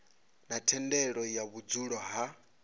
na thendelo ya vhudzulo ha